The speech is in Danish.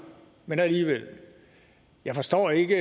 men alligevel jeg forstår ikke